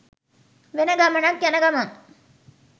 වෙන ගමනක් යන ගමන්.